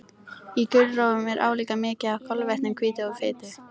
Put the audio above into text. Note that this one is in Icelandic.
Í gulrófum er álíka mikið af kolvetnum, hvítu og fitu.